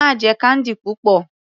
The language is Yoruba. Má jẹ candy púpọ̀.